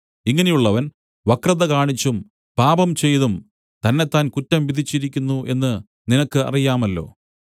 ഇങ്ങനെയുള്ളവൻ വക്രത കാണിച്ചും പാപം ചെയ്തും തന്നെത്താൻ കുറ്റം വിധിച്ചിരിക്കുന്നു എന്ന് നിനക്ക് അറിയാമല്ലോ